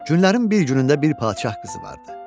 Günlərin bir günündə bir padşah qızı vardı.